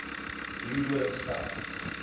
leeudoringstad